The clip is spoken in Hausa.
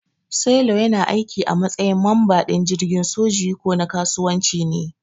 Sailor yana aiki a matsayin mamba din jirgin soji ko na kasuwanci ne.